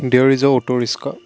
there is uh two .